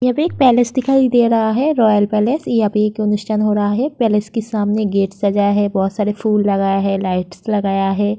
यहाँ पे एक पैलेस दिखाई दे रहा है रॉयल पैलेस । यहाँ पे एक हो रहा है। पैलेस के सामने गेट सजाया है। बोहोत सारे फूल लगाया है लाइट्स लगाया है।